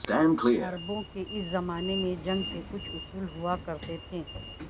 عربوں کے اس زمانے میں جنگ کے کچھ اصول ہوا کرتے تھے